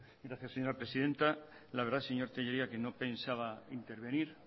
gracias señora presidenta la verdad señor tellería que no pensaba intervenir